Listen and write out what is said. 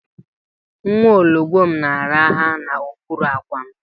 Nwa ologbom na-araha n'okpuru àkwà m